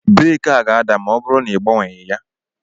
Breeki a ga-ada ma ọ bụrụ na igbanweghị ya